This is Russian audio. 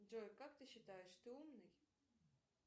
джой как ты считаешь ты умный